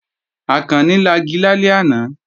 Àkànni lagi lálẹ́ àná